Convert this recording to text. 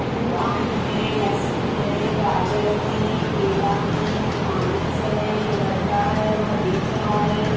दुकान है लहसुन है गाजर है केला है अनानास है एक लड़का है वह बेच रहा है।